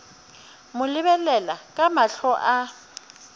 mo lebelela ka mahlo a